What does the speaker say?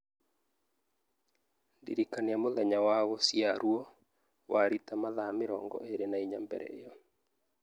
ndĩrikania mũthenya wa gũciarũo wa Rita mathaa mĩrongo ĩĩrĩ na inya mbere ĩyo